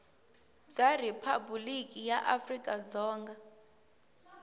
bya riphabuliki ra afrika dzonga